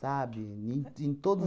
Sabe, nem ti em todos